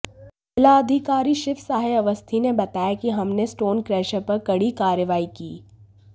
जिलाधिकारी शिव सहाय अवस्थी ने बताया कि हमने स्टोन क्रेशर पर कड़ी कार्रवाई की